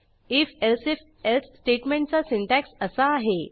if elsif else स्टेटमेंटचा syntax असा आहे